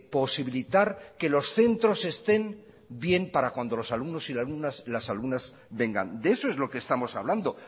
posibilitar que los centros estén bien para cuando los alumnos y las alumnas vengan de eso es lo que estamos hablando